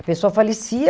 A pessoa falecia.